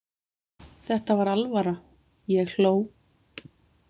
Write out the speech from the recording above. Þetta var alvara, ég hló.